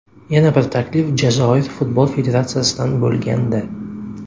Yana bir taklif Jazoir Futbol Federatsiyasidan bo‘lgandi.